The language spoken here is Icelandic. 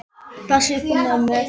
Ég passa upp á mömmu.